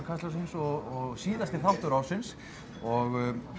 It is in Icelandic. Kastljóssins og síðasti þáttur ársins og